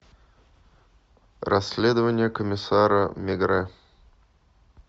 расследование комиссара мегрэ